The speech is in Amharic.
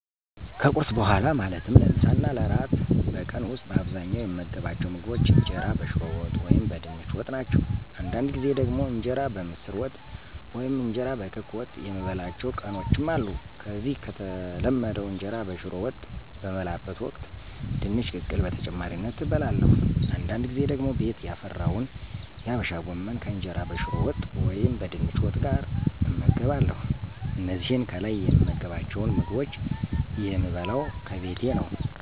ከቁርስ በኋላ ማለትም ለምሳ እና ለእራት በቀን ዉስጥ በአብዛኛዉ የምመገባቸዉ ምግቦች እንጀራ በሽሮ ወጥ ወይም በድንች ወጥ ናቸው። አንዳንድ ጊዜ ደግሞ እንጀራ በምስር ወጥ ወይም እንጀራ በክክ ወጥ የምበላባቸዉ ቀኖችም አሉ። ከዚህ ከተለመደዉ እንጀራ በሽሮ ወጥ በምበላበት ወቅት ድንች ቅቅል በተጨማሪነት እበለለሁ፤ አንዳድ ጊዜ ደግሞ ቤት ያፈራውን የአበሻ ጎመን ከእንጀራ በሽሮ ወጥ ወይም በድንች ወጥ ጋር እመገባለሁ። እነዚህን ከላይ የምመገባቸዉን ምግቦች የምበለው ከቤቴ ነው።